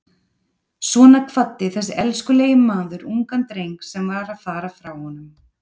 Svona kvaddi þessi elskulegi maður ungan dreng sem var að fara frá honum.